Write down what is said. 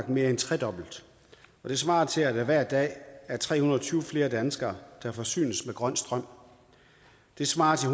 mere end tredoblet det svarer til at der hver dag er tre hundrede og tyve flere danskere der forsynes med grøn strøm det svarer til